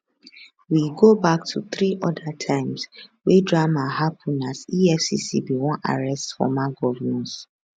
we go back to three oda times wey drama happen as efcc bin wan arrest former govnors